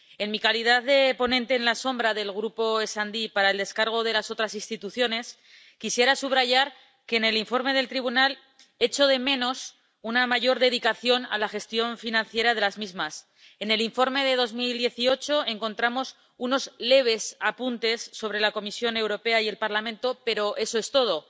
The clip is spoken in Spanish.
En mi calidad de ponente alternativa del Grupo SD para la aprobación de la gestión de las otras instituciones, quisiera subrayar que en el Informe del Tribunal echo de menos una mayor dedicación a la gestión financiera de las mismas en el Informe de 2018 encontramos unos leves apuntes sobre la Comisión Europea y el Parlamento, pero eso es todo.